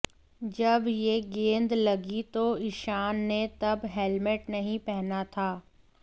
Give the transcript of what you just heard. जब यह गेंद लगी तो ईशान ने तब हेलमेट नहीं पहना था